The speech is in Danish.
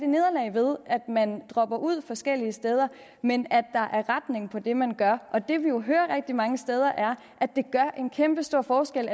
nederlag ved at man dropper ud forskellige steder men at der er retning på det man gør det vi jo hører rigtig mange steder er at det gør en kæmpestor forskel